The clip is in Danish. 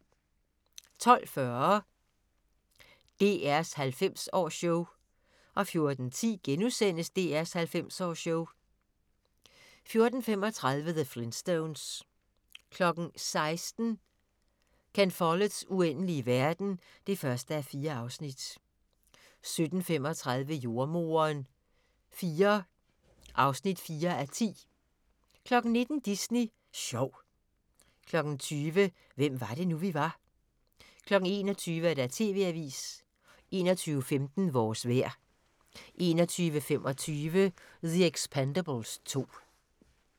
12:40: DR's 90-års-show 14:10: DR's 90-års-show * 14:35: The Flintstones 16:00: Ken Folletts Uendelige verden (1:4) 17:35: Jordemoderen IV (4:10) 19:00: Disney Sjov 20:00: Hvem var det nu, vi var 21:00: TV-avisen 21:15: Vores vejr 21:25: The Expendables 2